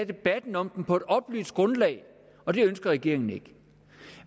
debatten om dem på et oplyst grundlag og det ønsker regeringen ikke